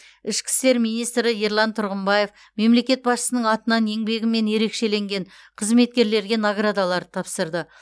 ішкі істер министрі ерлан тұрғымбаев мемлекет басшысының атынан еңбегімен ерекшеленген қызметкерлерге наградаларды тапсырды